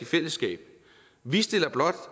fællesskab vi stiller blot